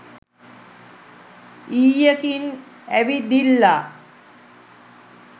ඊයකින් ඇවිදිල්ලා